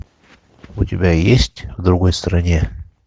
у тебя есть в другой стране